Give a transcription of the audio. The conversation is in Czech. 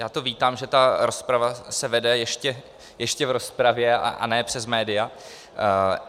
Já to vítám, že ta rozprava se vede ještě v rozpravě a ne přes média.